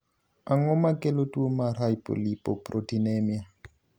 Ang'o makelo tuo mar hypolipoproteinemia?